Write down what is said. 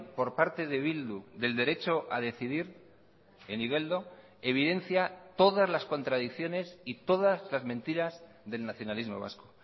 por parte de bildu del derecho a decidir en igeldo evidencia todas las contradicciones y todas las mentiras del nacionalismo vasco